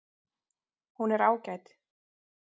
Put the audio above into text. Hér er ágæt